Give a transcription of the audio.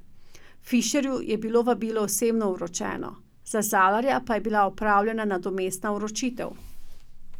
Fišerju je bilo vabilo osebno vročeno, za Zalarja pa je bila opravljena nadomestna vročitev.